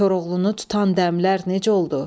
Koroğlunu tutan dəmlər necə oldu?